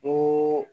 Ko